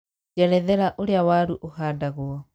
njerethera ũrĩa waru ũhadangwo